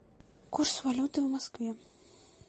курс валюты в москве